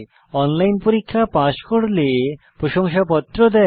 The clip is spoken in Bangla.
অনলাইন পরীক্ষা পাস করলে প্রশংসাপত্র দেয়